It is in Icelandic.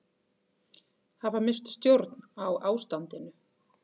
Hafa misst stjórn á ástandinu